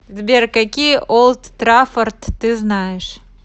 сбер какие олд траффорд ты знаешь